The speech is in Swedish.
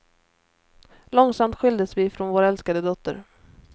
Långsamt skildes vi från vår älskade dotter.